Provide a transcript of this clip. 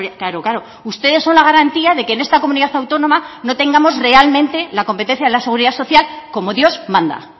claro claro ustedes son la garantía de que en esta comunidad autónoma no tengamos realmente la competencia de la seguridad social como dios manda